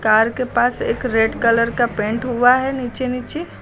तार के पास एक रेड कलर का पेंट हुआ है नीचे नीचे।